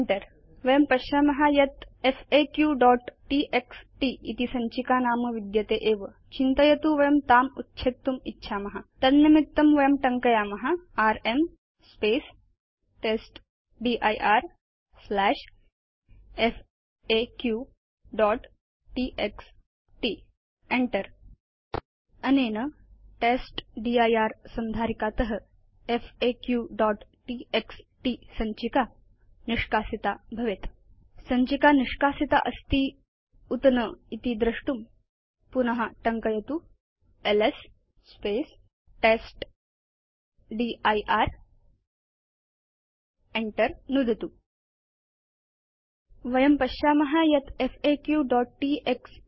वयं पश्याम यत् faqटीएक्सटी इति सञ्चिका नाम विद्यते एव चिन्तयतु वयं ताम् उच्छेत्तुम् इच्छाम तन्निमित्तं वयं टङ्कयाम र्म् testdirfaqटीएक्सटी enter नुदतु च अनेन testdir संधारिकात faqटीएक्सटी सञ्चिका निष्कासिता भवेत् सञ्चिका निष्कासिता अस्ति उत न इति द्रष्टुं पुन टङ्कयतु एलएस टेस्टदिर् enter नुदतु च वयं पश्याम यत् faqटीएक्सटी